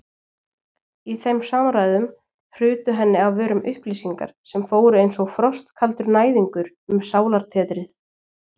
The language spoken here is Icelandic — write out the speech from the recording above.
Í þeim samræðum hrutu henni af vörum upplýsingar sem fóru einsog frostkaldur næðingur um sálartetrið.